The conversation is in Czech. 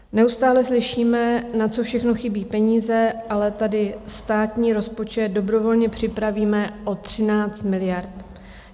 Neustále slyšíme, na co všechno chybějí peníze, ale tady státní rozpočet dobrovolně připravíme o 13 miliard.